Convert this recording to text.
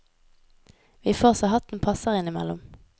Vi får så hatten passer innimellom.